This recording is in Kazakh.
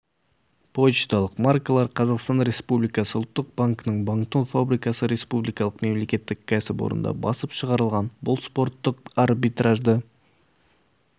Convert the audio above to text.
почталық маркалар қазақстан республикасы ұлттық банкінің банкнот фабрикасы республикалық мемлекеттік кәсіпорында басып шығарылған бұл спорттық арбитражды